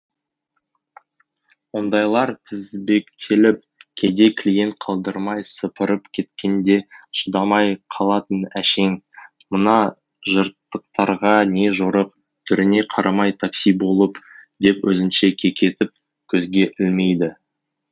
ондайлар тізбектеліп кейде клиент қалдырмай сыпырып кеткенде шыдамай қалатын әшең мына жыртықтарға не жорық түріне қарамай такси болып деп өзінше кекетіп көзге ілмейді